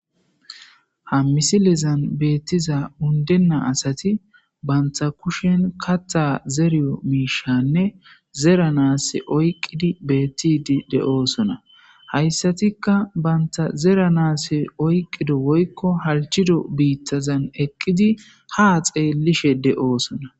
Ha misilezan beettiza undenna asati banta kushen katha zeriyo miishanne zera naas oyqqidi beettidi de7oosona hayssatikka banta zera naas oyqqido woykko halchido biittazan eqqidi ha xeellishe de7oosona.